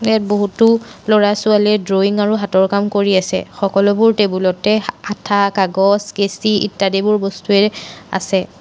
ইয়াত বহুতো ল'ৰা ছোৱালীয়ে ড্ৰয়িং আৰু হাতৰ কাম কৰি আছে সকলোবোৰ টেবুল তে আঠা কাগজ কেচি ইত্যাদি এইবোৰ বস্তুৱে আছে।